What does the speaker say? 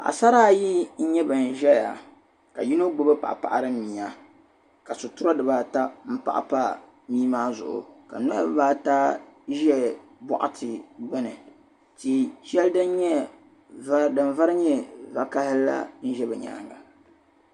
Paɣ'sara ayi n-nyɛ ban zaya ŋɔ ka yino gbubi paɣ'paɣiri mia ka sitira di ba ata m-paɣi pa mii maa zuɣu ka niriba ata n Ʒe buɣati gbuni tia shɛli nyɛ din vari nyɛ vakahili la Ʒe bɛ nyaaŋa